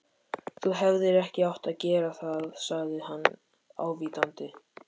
Þú hefðir ekki átt að gera það sagði hann ávítandi.